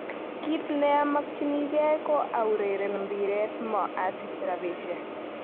Kit neomokyinige ko aureren mbiret mo osich rapishek.